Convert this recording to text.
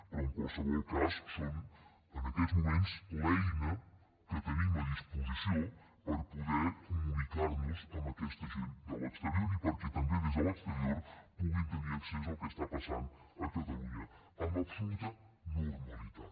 però en qualsevol cas és en aquests moments l’eina que tenim a disposició per poder comunicar nos amb aquesta gent de l’exterior i perquè també des de l’exterior puguin tenir accés al que passa a catalunya amb absoluta normalitat